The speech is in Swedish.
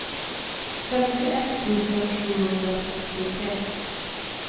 femtioett tusen sjuhundrasextiotre